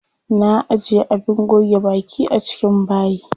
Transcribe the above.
Na ajiye abin goge baki a cikin bayi.